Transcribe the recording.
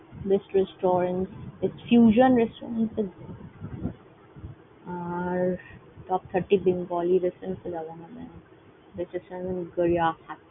Best restaurant . আর Top thirty Bengali restaurant Gariahat.